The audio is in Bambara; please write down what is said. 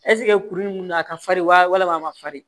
ɛsike kuru in kun be na a ka farin wa walama a ma farin